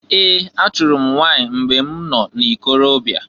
Ee! Achụrụ m nwanyị mgbe m nọ n'ikorobia.